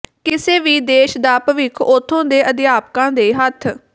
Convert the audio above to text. ਕਿਸੇ ਵੀ ਦੇਸ਼ ਦਾ ਭਵਿੱਖ ਉਥੋਂ ਦੇ ਅਧਿਆਪਕਾਂ ਦੇ ਹੱਥ